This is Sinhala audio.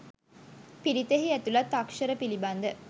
පිරිතෙහි ඇතුළත් අක්ෂර පිළිබඳ